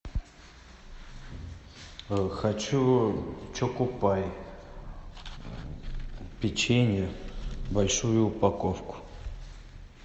хочу чокопай печенье большую упаковку